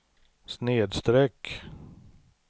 snedsträck